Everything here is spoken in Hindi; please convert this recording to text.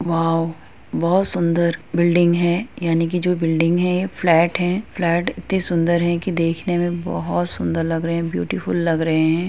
वाव बहुत सुंदर बिल्डिंग हैं यानि की जो बिल्डिंग हैं ये फ्लैट हैंफ्लैट इतने सुन्दर हैं की देखने मे बहुत सुन्दर लग रहे हैं ब्यूटीफुल लग रहे हैं |